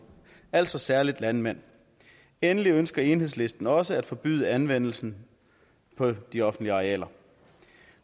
altså særlig landmænd endelig ønsker enhedslisten også at forbyde anvendelsen på de offentlige arealer